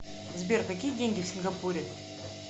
сбер какие деньги в сингапуре